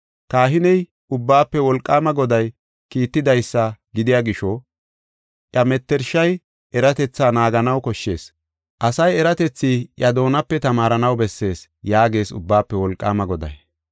Kahiney, Ubbaafe Wolqaama Goday kiitidaysa gidiya gisho, iya mettershay eratethi naaganaw koshshees; asay eratethi iya doonape tamaaranaw bessees” yaagees Ubbaafe Wolqaama Goday.